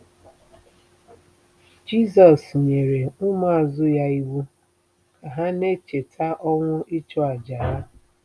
Jizọs nyere ụmụazụ ya iwu ka ha na-echeta ọnwụ ịchụàjà ya